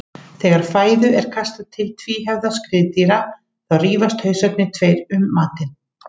Þegar fæðu er kastað til tvíhöfða skriðdýra þá rífast hausarnir tveir um matinn.